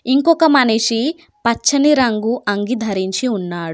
ఇంకొక మనిషి పచ్చని రంగు అంగీ ధరించి ఉన్నాడు.